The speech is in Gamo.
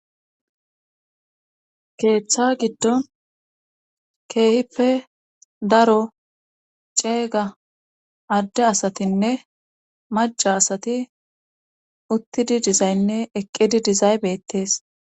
Keeththa giddon keehippe daro ceega adde asatinne maca asati uttidi dizaynne eqqidi dizaybettees